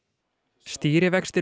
stýrivextir